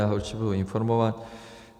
Já ho určitě budu informovat.